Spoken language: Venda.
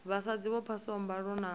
vhasadzi vho phasaho mbalo na